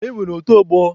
E nwere otu ọgbọ